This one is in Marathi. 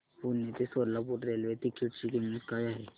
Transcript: पुणे ते सोलापूर रेल्वे तिकीट ची किंमत काय आहे